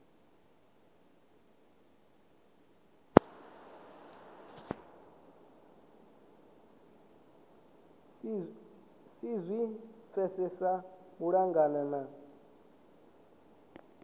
si zwi pfesese malugana na